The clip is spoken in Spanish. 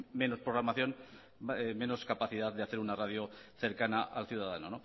menos programación menos capacidad de hacer una radio cercana al ciudadano